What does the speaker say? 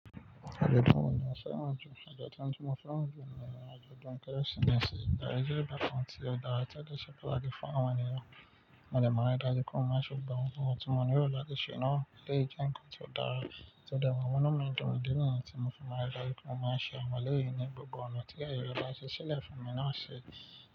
Ajọdun wo ni o fẹ́ràn jù? Ajọdun tí mo fẹ́ràn jù ni ajọdun Kérésìmesì. Idariji ìbátan ti dara ti o de se tan ati fun awọn eniyen. Mo de maa n ri daju pe mo maa ṣe awon ohunkohun ti mo lero lati ṣe naa to le jẹ nkan ti o dara. To de màa n munu mi dun, idi niyen ti mo maa ri, a ma ṣe awon ọmọlẹyin ni gbogbo ọna ti aaye re ba ṣiṣẹlẹ fun mi ni ọsẹ.